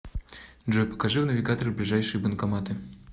джой покажи в навигаторе ближайшие банкоматы